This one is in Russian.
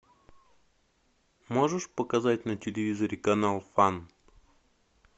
можешь показать на телевизоре канал фан